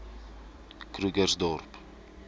krugersdorp